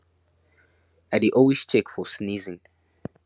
i dey always check for sneezing